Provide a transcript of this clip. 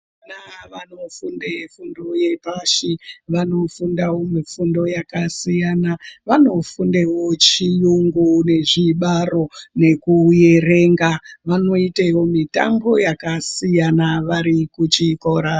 Vana vanofunde fundo yepashi vanofundawo mifundo yakasiyana vanofundewo chiyungu nezvibaro nekuerenga, vanoitewo mitambo yakasiyana varikuchikora.